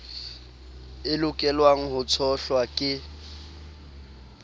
e lokelwang ho tshohlwa ke